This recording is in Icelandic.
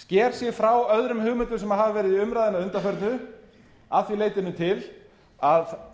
sker sig frá öðrum hugmyndum sem verið hafa í umræðunni að undanförnu að því leytinu til að